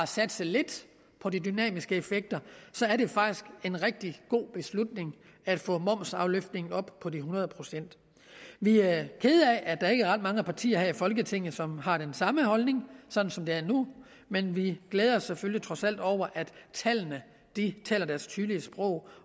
satse lidt på de dynamiske effekter er det faktisk en rigtig god beslutning at få momsafløftningen op på de hundrede procent vi er kede af at der ikke er ret mange partier her i folketinget som har den samme holdning sådan som det er nu men vi glæder os selvfølgelig trods alt over at tallene taler deres tydelige sprog